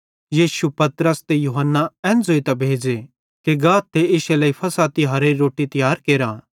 यीशुए पतरस ते यूहन्ना एन ज़ोइतां भेज़े कि गाथ ते इश्शे लेइ फ़सह तिहारेरी रोट्टी तियार केरा